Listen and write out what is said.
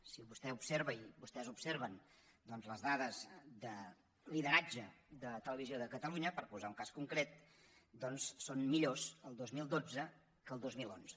si vostè observa i vostès observen doncs les dades de lideratge de televisió de catalunya per posar ne un cas concret són millors el dos mil dotze que el dos mil onze